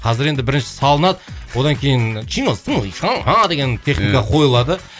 қазір енді бірінші салынады одан кейін деген техника қойылады